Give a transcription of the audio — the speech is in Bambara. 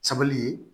Sabali ye